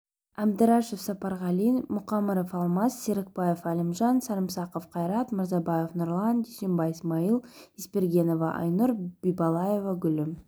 әбдірашев сапарғали мұқамыров алмас серікбаев әлімжан сарымсақов қайрат мырзабаев нұрлан дүйсебай смайыл есбергенова айнұр бибалаева гүлім